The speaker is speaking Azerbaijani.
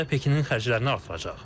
Bu da Pekinin xərclərini artıracaq.